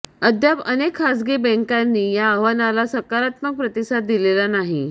अद्याप अनेक खासगी बँकांनी या आवाहनाला सकारात्मक प्रतिसाद दिलेला नाही